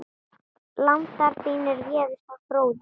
Landar þínir réðust á Fróða.